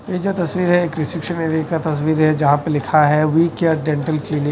ये जो तस्वीरें हैं एक रिसेप्शन एरिया का तस्वीर है जहां पे लिखा है वी केयर डेंटल क्लिनिक --